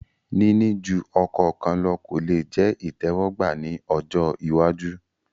Níní ju ọkọ kan lọ kò lè jẹ ìtẹ́wọ́gbà ní ọjọ́ iwájú